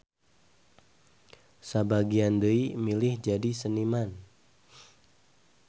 Sabagian deui milih jadi seniman.